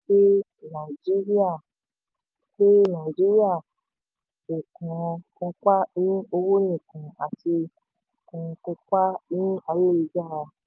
naijiria pé naijiria kò kan kópa ní owó nìkan ati ko kópa ní ayélujára.